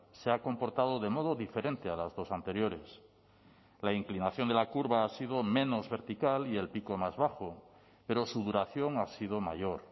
se ha comportado de modo diferente a las dos anteriores la inclinación de la curva ha sido menos vertical y el pico más bajo pero su duración ha sido mayor